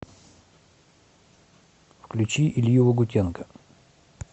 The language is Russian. включи илью лагутенко